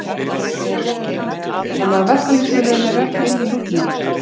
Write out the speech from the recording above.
Fréttamaður: Þannig að verkalýðsfélögin eru ekki inn í nútímanum?